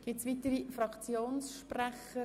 () Gibt es weitere Fraktionssprecher?